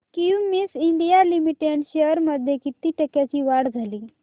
Cummins India limited shares मध्ये किती टक्क्यांची वाढ झाली